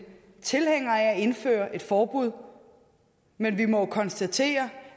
tilhængere af at indføre et forbud men vi må jo konstatere